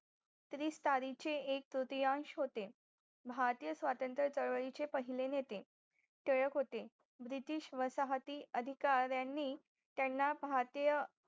एक तृतीयांश होते भारतीय स्वतंत्र चळवळी चे पहिले नेते टिळक होते British वसाहती अधिकारीयांनी त्यांना भारतीय